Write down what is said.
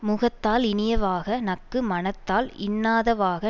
முகத்தால் இனியவாக நக்கு மனத்தால் இன்னாதவாக